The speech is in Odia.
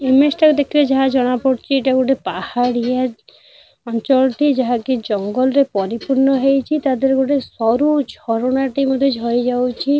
ଇମେଜ ଟା ଦେଖିଲେ ଯାହା ଜଣାପଡୁଛି ଏଇଟା ଗୋଟେ ପାହାଡ଼ିଆ ଅଞ୍ଚଳଟେ ଯାହାକି ଜଙ୍ଗଲ ରେ ପରିପୂର୍ଣ ହେଇଛି ତା ଦେହରୁ ସରୁ ଝରଣାଟିଏ ଝରି ଯାଉଛି।